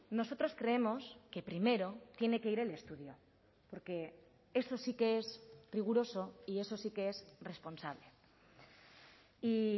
nosotros creemos que primero tiene que ir el estudio porque eso sí que es riguroso y eso sí que es responsable y